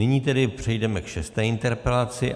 Nyní tedy přejdeme k šesté interpelaci.